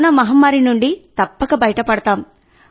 corona మహమ్మారి నుండి తప్పక బయటపడతాం